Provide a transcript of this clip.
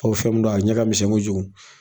Ko fɛn min don a ɲɛ ka misɛn kojugu